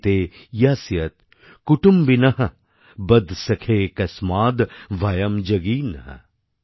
এতে ইয়স্যয় কুটুম্বিনহ্ বদ সখে কস্মাদ্ ভয়ম্ যোগীনহ্